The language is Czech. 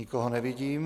Nikoho nevidím.